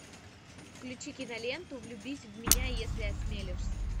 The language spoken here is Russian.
включи киноленту влюбись в меня если осмелишься